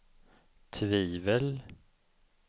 tvivel